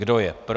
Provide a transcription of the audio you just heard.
Kdo je pro?